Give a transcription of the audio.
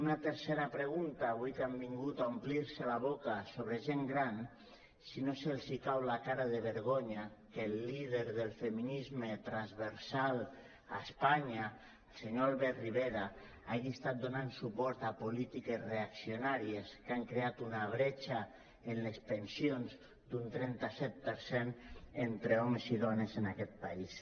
una tercera pregunta avui que han vingut a omplir se la boca sobre la gent gran si no els cau la cara de vergonya que el líder del feminisme transversal a espanya el senyor albert rivera hagi estat donant suport a polítiques reaccionàries que han creat una bretxa en les pensions d’un trenta set per cent entre homes i dones en aquest país